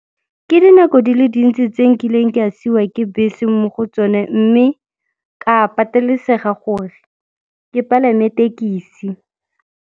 Ke dinako di le dintsi tse nkileng ke a siiwa ke bese mo go tsone, mme ka patelesega gore ke palame tekisi.